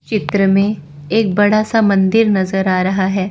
चित्र में एक बड़ा सा मंदिर नजर आ रहा है।